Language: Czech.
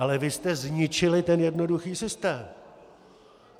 Ale vy jste zničili ten jednoduchý systém.